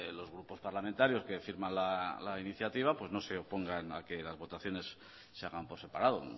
los grupos parlamentarios que firman la iniciativa pues no se opongan a que las votaciones se hagan por separado